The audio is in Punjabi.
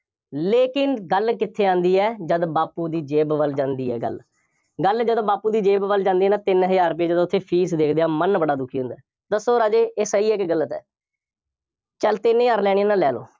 ਲੇਕਿਨ ਗੱਲ ਕਿੱਥੇ ਆਉਂਦੀ ਹੈ, ਜਦ ਬਾਪੂ ਦੀ ਜੇਬ ਵੱਲ ਜਾਂਦੀ ਹੈ ਗੱਲ, ਗੱਲ ਜਦੋਂ ਬਾਪੂ ਦੀ ਜੇਬ ਵੱਲ ਜਾਂਦੀ ਹੈ ਨਾ ਤਿੰਨ ਹਜ਼ਾਰ ਰੁਪਏ ਜਦੋ ਅਸੀਂ fees ਦੇਖਦੇ ਹਾਂ, ਮਨ ਬੜਾ ਦੁਖੀ ਹੁੰਦਾ ਹੈ, ਦੱਸੋ ਰਾਜੇ ਇਹ ਸਹੀ ਹੈ ਕਿ ਗਲਤ ਹੈ, ਚੱਲ ਤਿੰਨ ਹਜ਼ਾਰ ਲੈਣੇ ਆ ਤਾਂ ਲੈ ਲਓ।